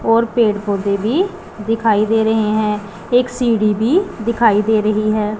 और पेड़ पौधे भी दिखाई दे रहे हैं एक सीढ़ी भी दिखाई दे रही है।